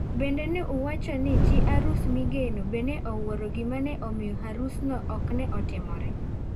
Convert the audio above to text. Bende ne uwwacho ni chi harus migeno be ne owuoro gima ne omiyo Harus okne otimore.